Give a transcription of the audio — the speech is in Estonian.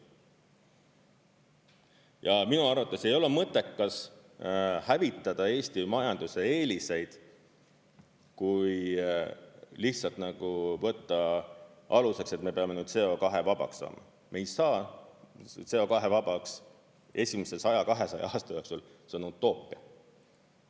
Ja minu arvates ei ole mõttekas hävitada Eesti majanduse eeliseid, kui lihtsalt võtta aluseks, et me peame CO2-vabaks saama, me ei saa CO2-vabaks esimese 100–200 aasta jooksul, see on utoopia.